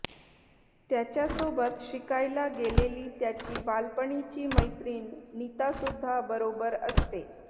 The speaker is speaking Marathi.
त्याच्यासोबत शिकायला गेलेली त्याची बालपणीची मैत्रीण नीतासुध्दा बरोबर असते